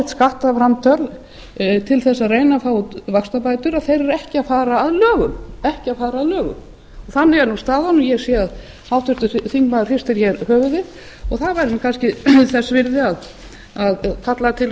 sín skattframtöl til að reyna að fá vaxtabætur eru ekki að fara að lögum þannig er staðan ég sé að háttvirtur þingmaður hristir höfuðið og það væri kannski þess virði að kalla til